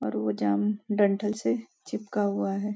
और वो जाम डंठल से चिपका हुआ है।